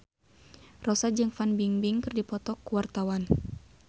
Rossa jeung Fan Bingbing keur dipoto ku wartawan